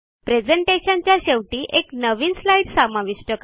प्रेझेंटेशनच्या शेवटी एक नवीन स्लाईड समाविष्ट करा